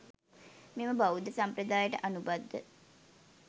මෙම බෞද්ධ සම්ප්‍රදායට අනුබද්ධ